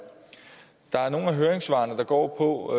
der er nogle af høringssvarene der går på